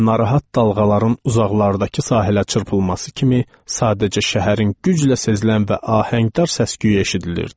Narahat dalğaların uzaqlardakı sahilə çırpılması kimi, sadəcə şəhərin güclə sezilən və ahəngdar səs-küyü eşidilirdi.